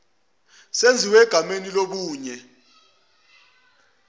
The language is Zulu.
senziwe egameni lomunye